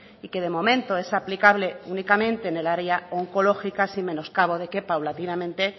y que de momento es aplicable únicamente en el área oncológica sin menoscabo de que paulatinamente